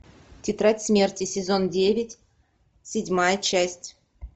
тетрадь смерти сезон девять седьмая часть